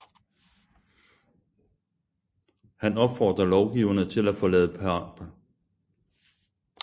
Han opfordrer lovgiverne til at forlade Paris for det da kongetro Rouen